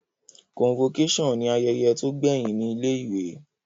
Convocation ni ayẹyẹ to gbẹhin ni ilé ìwé